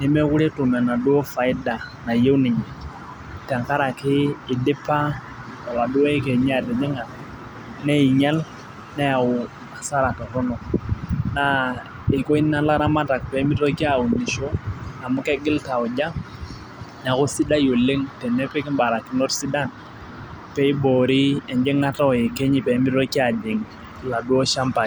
nemeekure etum enaduoo faida. nayieu ninye Tenkaraki idipa oladuoo yekenyi atijing'a neing'ial, neyau asara Torono. naa risk Ina laramatak pee mitoki aunisho amu kegol tauja neeku sidai Oleng tenepiki barakinot sidan, pee iboori ejingata oyekenyi pee meitoki ajing oladuoo shampai.